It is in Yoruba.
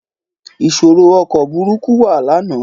Ìṣòro ọkọ̀ burúkú wà lánàá.